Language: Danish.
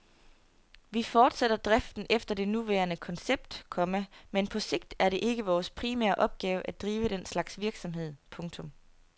Vi fortsætter driften efter det nuværende koncept, komma men på sigt er det ikke vores primære opgave at drive den slags virksomhed. punktum